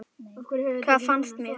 Hvað fannst mér?